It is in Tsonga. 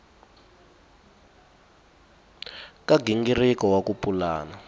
ka nghingiriko wa ku pulana